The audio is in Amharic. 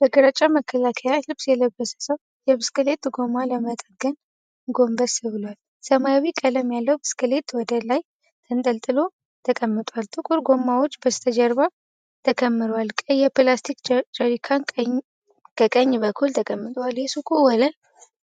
በግራጫ መከላከያ ልብስ የለበሰ ሰው የብስክሌት ጎማ ለመጠገን ጎንበስ ብሏል። ሰማያዊ ቀለም ያለው ብስክሌት ወደ ላይ ተገልብጦ ተቀምጧል። ጥቁር ጎማዎች በስተጀርባ ተከምረዋል፤ ቀይ የፕላስቲክ ጀሪካን ከቀኝ በኩል ተቀምጧል። የሱቁ ወለል